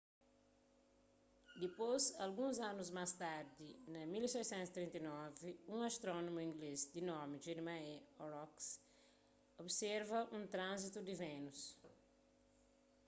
dispôs alguns anus más tardi na 1639 un astrónomu inglês di nomi jeremiah horrocks observa un tranzitu di vénus